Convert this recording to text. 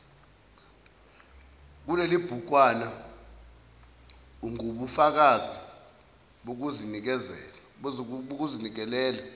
kulelibhukwana ungubufakazi bokuzinikela